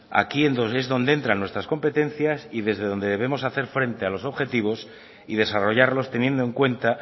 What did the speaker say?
aquí es donde entran nuestras competencias y desde donde debemos hacer frente a los objetivos y desarrollarlos teniendo en cuenta